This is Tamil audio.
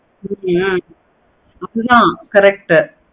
ஹம் உம் அது தான் correct உ